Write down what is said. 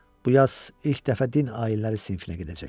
Bu yaz ilk dəfə din ayinləri sinifinə gedəcək.